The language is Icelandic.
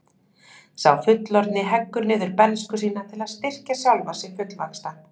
Sá fullorðni heggur niður bernsku sína til að styrkja sjálfan sig fullvaxta.